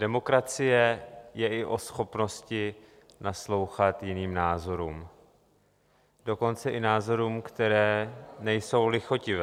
Demokracie je i o schopnosti naslouchat jiným názorům, dokonce i názorům, které nejsou lichotivé.